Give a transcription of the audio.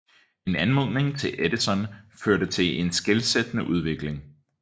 En anmodning til Edison førte til en skelsættende udvikling